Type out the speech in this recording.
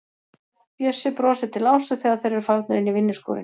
Bjössi brosir til Ásu þegar þeir eru farnir inn í vinnuskúrinn.